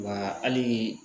Wa hali.